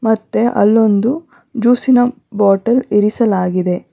ಮತ್ತೆ ಅಲ್ಲೊಂದು ಜ್ಯೂಸಿನ ಬಾಟಲ್ ಇರಿಸಲಾಗಿದೆ.